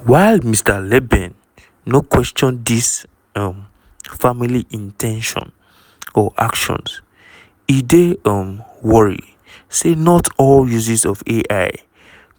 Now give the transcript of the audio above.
while mr leben no question dis um family in ten tion or actions e dey um worry say not all uses of ai